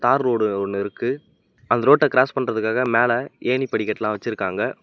தார் ரோடு ஒன்னு இருக்கு அந்த ரோட்ட கிராஸ் பண்றதுக்காக மேல ஏணிப்படிக்கட்டுலா வெச்சுருக்காங்க.